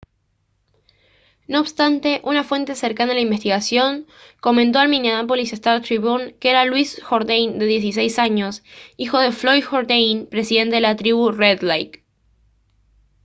no obstante una fuente cercana a la investigación comentó al minneapolis star-tribune que era louis jordain de 16 años hijo de floyd jourdain presidente de la tribu red lake